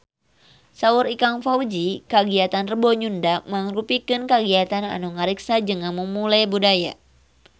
Saur Ikang Fawzi kagiatan Rebo Nyunda mangrupikeun kagiatan anu ngariksa jeung ngamumule budaya Sunda